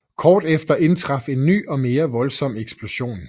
Kort efter indtraf en ny og mere voldsom eksplosion